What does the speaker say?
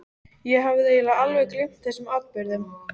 Ég hafði eiginlega alveg gleymt þessum atburðum.